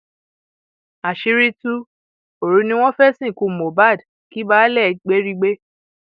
àṣírí tú òru ni wọn fẹẹ sìnkú mohbak kí baálé gbérígbé